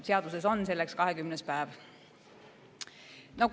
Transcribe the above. Seaduses on selleks 20. päev.